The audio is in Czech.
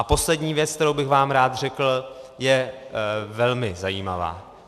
A poslední věc, kterou bych vám rád řekl, je velmi zajímavá.